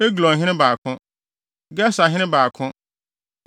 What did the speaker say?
Eglonhene 2 baako 1 Geserhene 2 baako 1